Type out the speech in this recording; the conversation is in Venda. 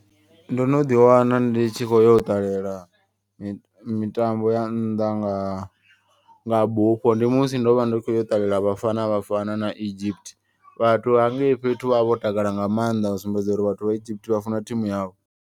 Ndo no ḓi wana ndi tshi kho yo u ṱalela mitambo ya nnḓa nga nga bufho. Ndi musi ndo vha ndi khou yo ṱalela vhafana vhafana na Egypt. Vhathu hangei fhethu vhavha vho takala nga maanḓa u sumbedza uri vhathu vha Egypt vha funa thimu yavho.